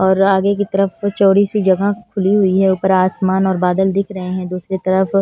और आगे की तरफ चौड़ी सी जगह खुली हुई है ऊपर आसमान और बादल दिख रहे हैं दूसरी तरफ--